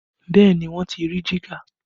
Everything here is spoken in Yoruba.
Bẹẹ ni, wọ́n ti rí jígà